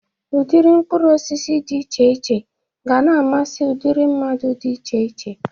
Udịdị mkpụrụosisi dị iche iche ga na-amasi ụdịrị mmadụ dị iche iche.